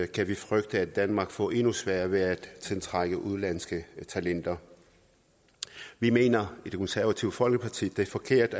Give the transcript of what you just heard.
kan vi frygte at danmark får endnu sværere ved at tiltrække udenlandske talenter vi mener i det konservative folkeparti at det er forkert